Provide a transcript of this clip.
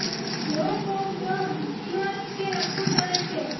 rock of dome ઇમારત કે તે રક્ષણ કરે છે